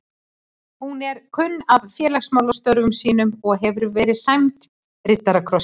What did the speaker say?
Hún er kunn af félagsmálastörfum sínum og hefur verið sæmd riddarakrossi